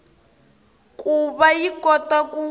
ku va yi kota ku